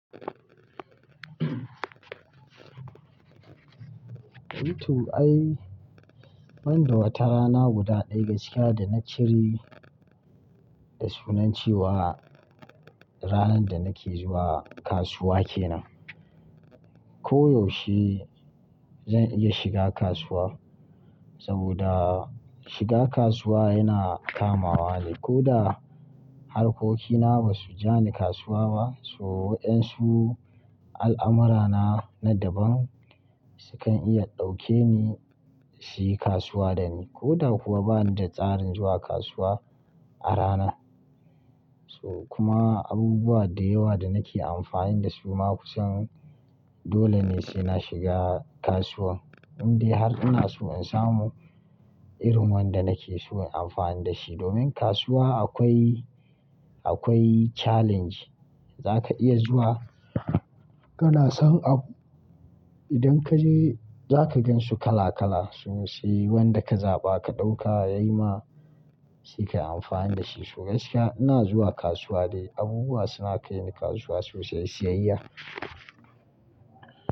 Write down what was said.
Eh to ai, ban da wata rana guda ɗaya gaskiya da na ciri, da sunan ce wa ranan da nake zuwa kasuwa kenan. Ko yaushe, zan iya shiga kasuwa, saboda shiga kasuwa yana kamawa ne. Ko da, harkokina ba su ja ni kasuwa ba, so waɗansu al'amurana na daban, su kan iya ɗauke ni, su yi kasuwa da ni. Ko da kuwa bani da tsarin zuwa kasuwa, a ranan. So kuma, abubuwa da yawa da nake amfani da su, maƙusan, dole ne sai na shiga kasuwa. Indai har ina so in samu, irin wanda nake so in amfani da shi. Domin kasuwa akwai, akwai challenge, za ka iya zuwa, kana son abu idan ka je za ka gansu kala kala. Su sai wanda ka zaɓa ka ɗauka yayi ma, sai ka yi amfani da shi. So gaskiya ina zuwa kasuwa de, abubuwa suna kai ni kasuwa sosai, siyayya.